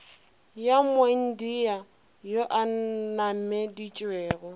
ya moindia yo a nnameditšego